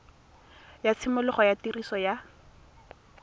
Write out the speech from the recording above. ga tshimologo ya tiriso ya